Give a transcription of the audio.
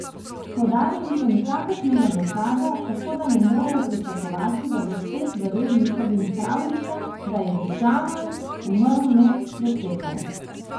Podali niso nikakršnega dokaza, tako da ne morejo pričakovati, da bo svet verjel njihovim pravljicam, da je Džamal umrl med pretepom.